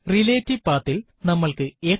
relative പത്ത് ൽ നമ്മൾക്ക് എത്ര